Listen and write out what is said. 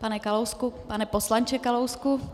Pane Kalousku - pane poslanče Kalousku.